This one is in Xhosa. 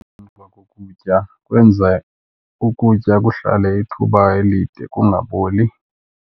Emva kokutya kwenza ukutya kuhlale ithuba elide kungaboli.